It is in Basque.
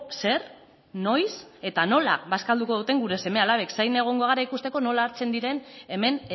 zer noiz eta nola bazkalduko duten gure seme alabek zain egongo gara ikusteko nola hartzen diren hemen